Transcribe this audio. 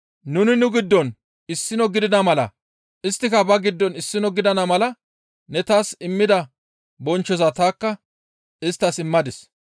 Nuni nu giddon issino gidida mala isttika ba giddon issino gidana mala ne taas immida bonchchoza tanikka isttas immadis.